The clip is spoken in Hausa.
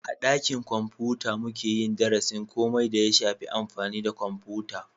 A dakin kwamfuta muke yin darasin komai da ya shafi amfani da kwamfuta